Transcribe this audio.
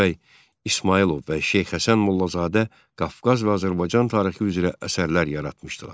Rəşid bəy İsmayılov və Şeyx Həsən Mollazadə Qafqaz və Azərbaycan tarixi üzrə əsərlər yaratmışdılar.